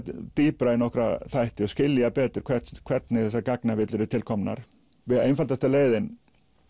dýpra í nokkra þætti og skilja betur hvernig hvernig þessar gagnavillur eru til komnar einfaldasta leiðin